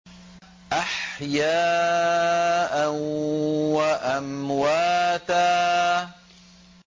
أَحْيَاءً وَأَمْوَاتًا